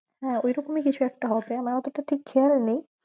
হ্যাঁ ওইরকমই কিছু একটা হবে আমার অতটা ঠিক খেয়াল নেই